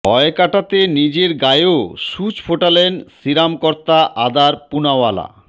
ভয় কাটাতে নিজের গায়েও সূচ ফোটালেন সিরাম কর্তা আদার পুনাওয়ালা